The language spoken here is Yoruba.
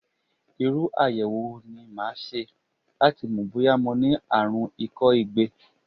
Irú àyẹ̀wò wo ni màá ṣe láti mọ̀ bóyá mo ní àrùn ikọ́ igbe?